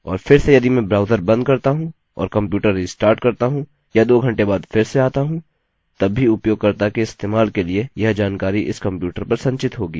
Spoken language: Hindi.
और फिर से यदि मैं ब्राउज़र बंद करता हूँ और कंप्यूटर रिस्टार्ट करता हूँ या दो घंटे बाद फिर से आता हूँ तब भी उपयोगकर्ता के इस्तेमाल के लिए यह जानकारी इस कंप्यूटर पर संचित होगी